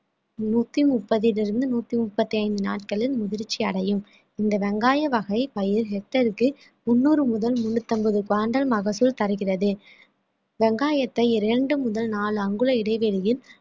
நூத்தி முப்பதிலிருந்து நூத்தி முப்பத்தி ஐந்து நாட்களில் முதிர்ச்சி அடையும் இந்த வெங்காய வகை பயிர் hectare க்கு முந்நூறு முதல் முன்னூத்தி ஐம்பது மகசூல் தருகிறது வெங்காயத்தை இரண்டு முதல் நாலு அங்குல இடைவெளியில்